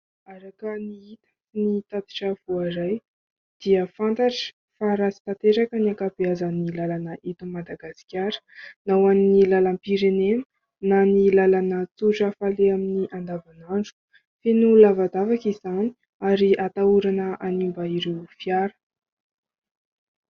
Araka ny hita, ny tatitra voaray, dia fantatra fa ratsy tanteraka ny ankabeazan'ny làlana eto Madagasikara, na ho an'ny làlam-pirenena na ny làlana tsotra faleha amin'ny andavanandro. Feno lavadavaka izany ary atahorana hanimba ireo fiara.